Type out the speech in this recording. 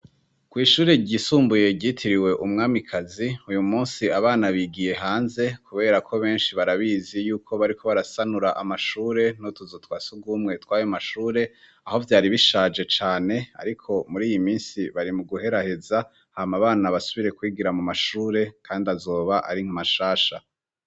Kw'ishure ryisumbuye ryitiriwe umwamikazi uyu musi abana bigiye hanze, kubera ko benshi barabizi yuko bariko barasanura amashure no tuzutwasi ugwumwe twayo mashure aho vyari bishaje cane, ariko muri iyi misi bari mu guheraheza hama abana basubire kwigira mu mashure, kandi azoba ari nkamasha rasha.